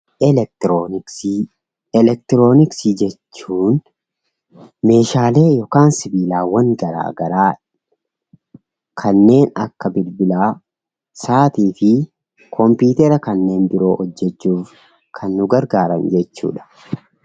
Elektirooniksii Elektirooniksii jechuun meeshaalee yookaan sibiilaawwan garaagaraa kanneen akka bilbilaa sa'atii fi kompiitara kanneen biroo hojjechuuf kan nu gargaaran jechuu dha.